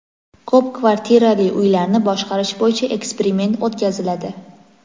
Ko‘p kvartirali uylarni boshqarish bo‘yicha eksperiment o‘tkaziladi.